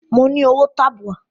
Mo ní owó tabua.